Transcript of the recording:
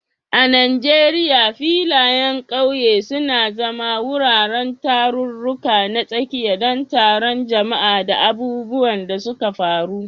A Najeriya, filayen ƙauye suna zama wuraren tarurruka na tsakiya don taron jama'a da abubuwan da suka faru.